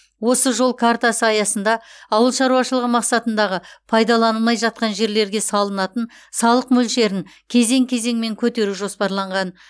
осы жол картасы аясында ауыл шаруашылығы мақсатындағы пайдаланылмай жатқан жерлерге салынатын салық мөлшерін кезең кезеңмен көтеру жоспарланған